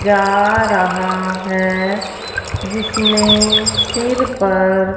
जा रहा है जिसने सिर पर--